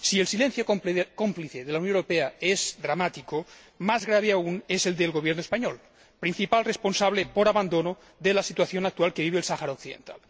Si el silencio cómplice de la Unión Europea es dramático, más grave aún es el del Gobierno español, principal responsable, por abandono, de la situación actual que vive el Sáhara Occidental.